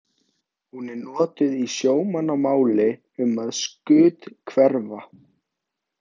Hún er notuð í sjómannamáli um að skuthverfa.